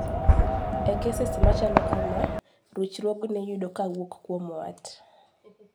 e keses machalo kama, ruchruogni iyudo kawuok kuom wat